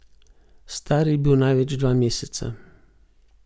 Star je bil največ dva meseca.